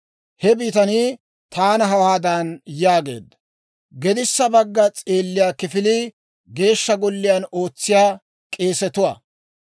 He bitanii taana hawaadan yaageedda; «Gedissa bagga s'eelliyaa kifilii Geeshsha Golliyaan ootsiyaa k'eesetuwaa.